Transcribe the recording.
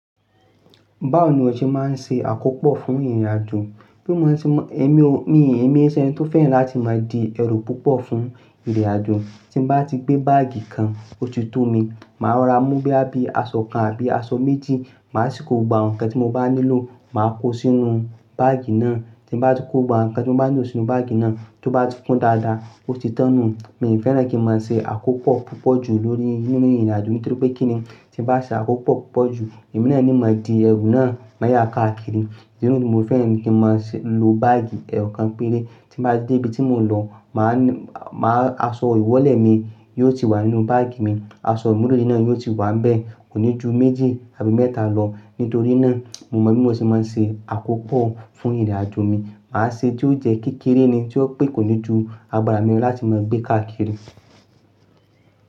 Báwo ni o ṣe máa ń ṣe àkópò fún ìrìnàjò? Bí mo ṣe ń mọ, èmi o-- mi èmi se eni tó fẹ́ràn láti máa di ẹrù púpọ̀ fún ìrìnàjò. Tí mo bá ti gbé báàgì kan, ó ti tó mi. Màá ro ra mu bíi aṣọ kan àbí aṣọ méjì. Màá sì kó gba ǹkan tí mo bá nílò, màá kó sínu báàgì náà. Tí mo bá ti kó gba ǹkan tí mo bá nílò sínú báàgì náà, tó bá ti kún dáadáa, ó ti tán nu. Mi fẹ́ràn kí n máa ṣe àkópò púpọ̀ ju nínú ìrìnàjò mi nítorí pé kíni, tí bá ṣe àkópò púpọ̀ ju, èmi náà ní máa di ẹrù náà mayá káàkiri. Idi nìyẹn ni mo fẹ́ràn kí n máa lo báàgì eyokan péré. Tí n bá ti dé ibi tí mo ń lọ, aṣọ ìwọ́lẹ̀ mi yóò ti wà nínú báàgì mi. Aṣọ imurede náà yóò ti wà ń bẹ́ẹ̀, kò ní ju méjì àbí mẹ́ta lọ. Nítorí náà, mo mọ̀ bí mo ṣe máa ń ṣe àkópò fún ìrìnàjò mi. Màá ṣe tí ó jẹ́ kékeré ni, tí ó pè kò ní ju agbára mi lọ láti máa gbé káàkiri.